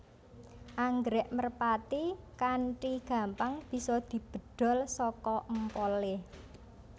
Anggrèk merpati kanthi gampang bisa dibedhol saka empolé